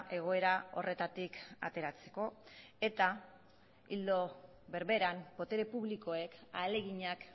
egoera horretatik ateratzeko eta ildo berberan botere publikoek ahaleginak